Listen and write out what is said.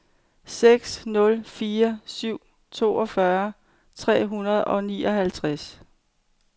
seks nul fire syv toogfyrre tre hundrede og nioghalvtreds